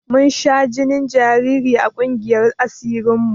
Mun sha jinin jariri a ƙungiyar asirin mu